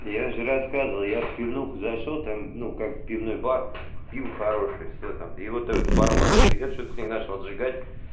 я же рассказывал я в пивнуху зашёл там ну как пивной бар пиво хорошее и всё там хорошее всё там и вот это барменша я что-то начал с ней отжигать